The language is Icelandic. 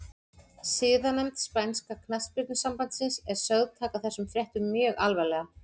Siðanefnd spænska knattspyrnusambandsins er sögð taka þessum fréttum mjög alvarlega.